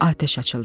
Atəş açıldı.